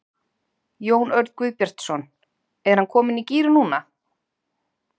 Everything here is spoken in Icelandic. Jón Örn Guðbjartsson: Er hann kominn í gír núna?